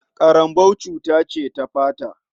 Ƙarambau cuta ce ta fata.